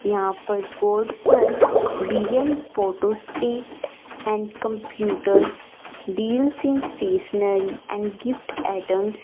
यहां पर बोर्ड पर B L photo state and computers deals in stationery and gift items --